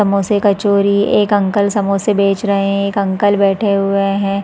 समोसे कचोरी एक अंकल समोसे बेच रहे है एक अंकल बैठे हुए हैं ।